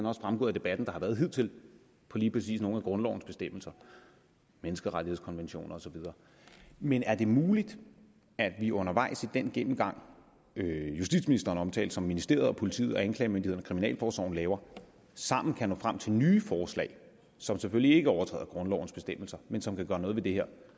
også fremgået af debatten der har været hidtil på lige præcis nogle af grundlovens bestemmelser menneskerettighedskonventioner og så videre men er det muligt at vi undervejs i den gennemgang justitsministeren omtalte som ministeriet politiet anklagemyndigheden og kriminalforsorgen laver sammen kan nå frem til nye forslag som selvfølgelig ikke overtræder grundlovens bestemmelser men som kan gøre noget ved det her